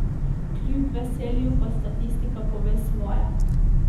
Kljub veselju pa statistika pove svoje.